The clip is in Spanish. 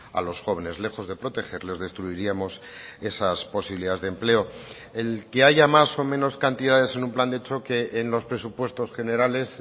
a los jóvenes lejos de protegerles destruiríamos esas posibilidades de empleo el que haya más o menos cantidades en un plan de choque en los presupuestos generales